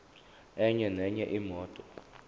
enye nenye imoto